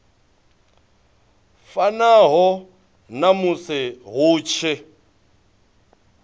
fanaho na musi hu tshi